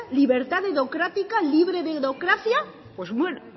libertad dedocrática libre dedocracia pues bueno